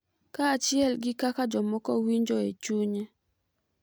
Kaachiel gi kaka jomoko winjo e chunye.